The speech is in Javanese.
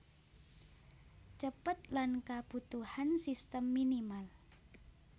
Cepet lan kabutuhan sistem minimal